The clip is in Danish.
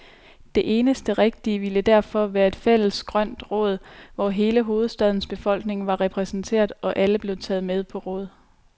Det eneste rigtige ville derfor være et fælles grønt råd, hvor hele hovedstadens befolkning var repræsenteret, og alle blev taget med på råd.